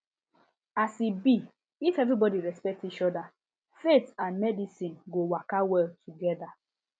as e be if everybody respect each other faith and medicine go waka well together